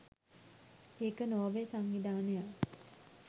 ඒක නෝර්වේ සංවිධානයක්